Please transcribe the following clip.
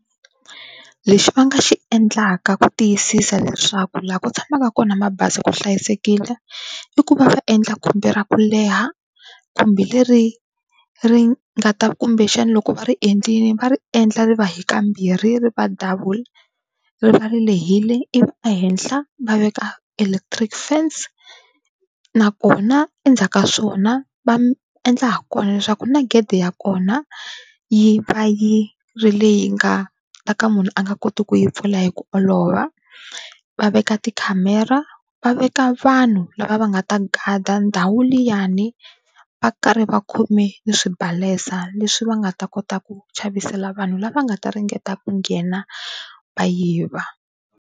Lexi va nga xi endlaka ku tiyisisa leswaku laha ku tshamaka kona mabazi ku hlayisekile, i ku va va endla khumbi ra ku leha khumbi leri ri nga ta kumbexana loko va ri endlile va ri endla ri va hi kambirhi ri va double ri va ri lehile, ivi ehenhla va veka electric fence. Na kona endzhaku ka swona va endla ha kona leswaku na gede ya kona yi va yi ri le yi nga ta ka munhu a nga koti ku yi pfula hi ku olova, va veka tikhamera va veka vanhu lava va nga ta gada ndhawu liyani va karhi va khome ni swibalesa leswi va nga ta kota ku chavisela vanhu lava nga ta ringeta ku nghena va yiva.